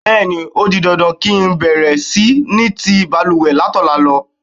Bé̩è̩ni, ó di dandan kí ń bè̩rè̩ sí ni ti balùwè̩ látò̩la lo̩.